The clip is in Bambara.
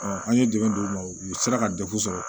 an ye dɛmɛ d'u ma u sera ka dekun sɔrɔ